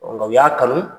nka u y'a kanu